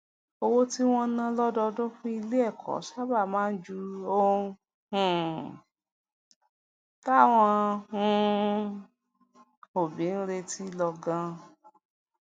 owó tí wón ń ná lódọọdún fún ilé èkó sábà máa ń ju ohun um táwọn um òbí ń retí lọ ganan